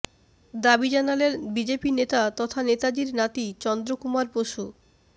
দাবি জানালেন বিজেপি নেতা তথা নেতাজীর নাতি চন্দ্রকুমার বসু